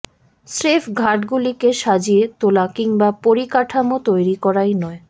স্রেফ ঘাটগুলিকে সাজিয়ে তোলা কিংবা পরিকাঠামো তৈরি করাই নয়